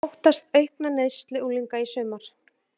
Óttast aukna neyslu unglinga í sumar